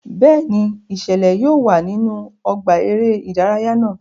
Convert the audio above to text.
Bẹẹni, iṣẹlẹ yóò wá nínú ọgbà eré ìdárayá náà